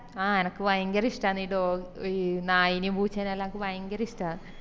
ആഹ് എനക്ക് ഭയങ്കര ഇഷ്ട്ടന്ന് ഇത്പോ നയിനേം പൂച്ചേനേം എല്ലാം ഭയങ്കരഇഷ്ട്ട